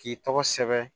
K'i tɔgɔ sɛbɛn